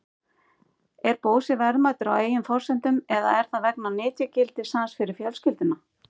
Er Bósi verðmætur á eigin forsendum eða er það vegna nytjagildis hans fyrir fjölskylduna?